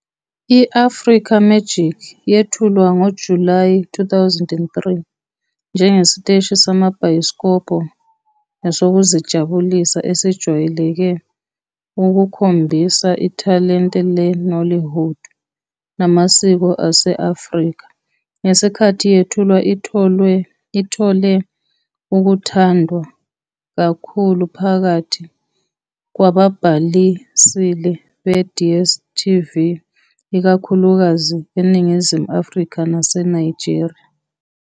I-Africa Magic yethulwa ngoJulayi 2003 njengesiteshi samabhayisikobho nesokuzijabulisa esijwayele ukukhombisa ithalente le-nollywood namasiko ase-Afrika. Ngesikhathi yethulwa ithole ukuthandwa kakhulu phakathi kwababhalisile be-DStv, ikakhulukazi eNingizimu Afrika naseNigeria.